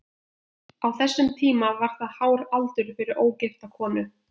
Á þessum tíma var það hár aldur fyrir ógifta konu.